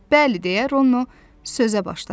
Bəli, deyə Ronnu sözə başladı.